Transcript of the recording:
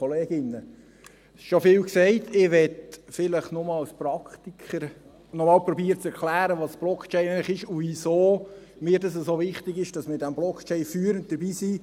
Ich möchte vielleicht noch als Praktiker zu erklären versuchen, was Blockchain eigentlich ist und wieso mir das so wichtig ist, dass wir bei dieser Blockchain führend dabei sind.